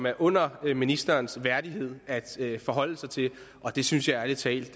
er under ministerens værdighed at forholde sig til og det synes jeg ærlig talt